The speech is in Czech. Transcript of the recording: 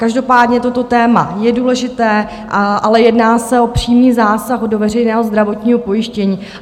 Každopádně toto téma je důležité, ale jedná se o přímý zásah do veřejného zdravotního pojištění.